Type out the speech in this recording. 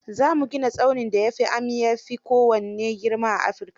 Za mu ganin tsaunin da amya fi kowanne girma a Afirika.